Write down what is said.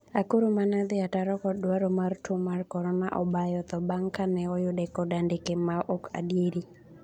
Akuru 'mane odhi ataro kod dwaro mar tuo mar korona obayo tho bang' kane oyude kod andike ma ok adieri